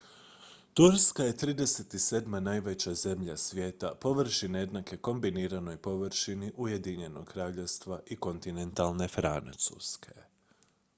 turska je 37. najveća zemlja svijeta površine jednake kombiniranoj površini ujedinjenog kraljevstva i kontinentalne francuske